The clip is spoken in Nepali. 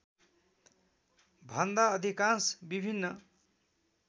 भन्दा अधिकांश विभिन्न